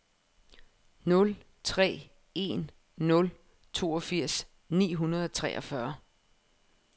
nul tre en nul toogfirs ni hundrede og treogfyrre